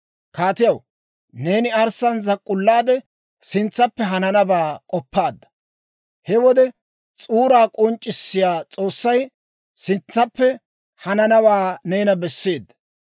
«Kaatiyaw, neeni arssaan zak'k'ullaade, sintsaappe hananabaa k'oppaadda. He wode s'uuraa k'onc'c'issiyaa S'oossay sintsaappe hananawaa neena besseedda.